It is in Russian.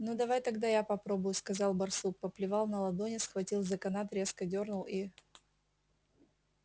ну давай тогда я попробую сказал барсук поплевал на ладони схватил за канат резко дёрнул и